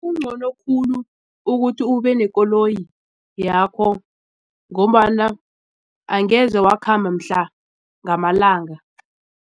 Kungcono khulu ukuthi ubenekoloyi yakho ngombana angeze wakhamba mihla ngamalanga.